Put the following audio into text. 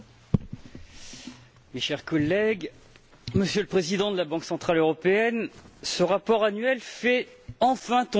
Mes chers collègues, Monsieur le Président de la Banque centrale européenne, ce rapport annuel fait enfin tomber certains tabous.